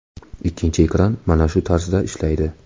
Ikkinchi ekran mana shu tarzda ishlaydi.